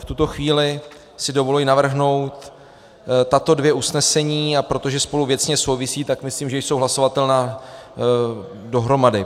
V tuto chvíli si dovoluji navrhnout tato dvě usnesení, a protože spolu věcně souvisí, tak myslím, že jsou hlasovatelná dohromady: